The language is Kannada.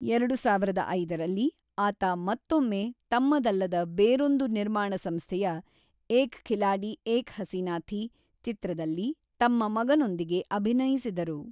ಎರಡು ಸಾವಿರದ ಐದರಲ್ಲಿ ಆತ ಮತ್ತೊಮ್ಮೆ ತಮ್ಮದಲ್ಲದ ಬೇರೊಂದು ನಿರ್ಮಾಣ ಸಂಸ್ಥೆಯ ಏಕ್ ಖಿಲಾಡಿ ಏಕ್ ಹಸೀನಾ ಥೀ ಚಿತ್ರದಲ್ಲಿ ತಮ್ಮ ಮಗನೊಂದಿಗೆ ಅಭಿನಯಿಸಿದರು.